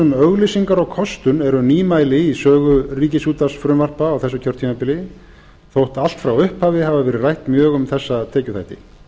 um auglýsingar og kostun eru nýmæli í sögu ríkisútvarpsfrumvarpa á þessu kjörtímabili þótt allt frá upphafi hafi verið rætt mjög um þessa tekjuþætti